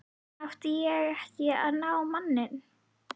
Átti ég ekki að ná í manninn?